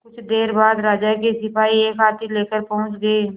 कुछ देर बाद राजा के सिपाही एक हाथी लेकर पहुंच गए